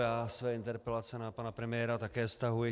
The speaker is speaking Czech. Já své interpelace na pana premiéra také stahuji.